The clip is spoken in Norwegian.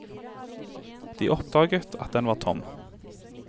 De oppdaget at den var tom.